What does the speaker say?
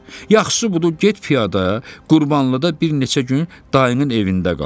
Yaxşısı budur, get piyada Qurbanlıda bir neçə gün dayının evində qal.